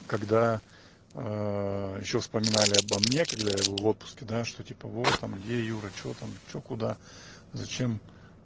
когда а ещё вспоминали обо мне когда я был в отпуске да что типа вот там где юра что там что куда зачем